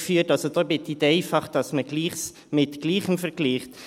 Ich bitte darum, Gleiches mit Gleichem zu vergleichen.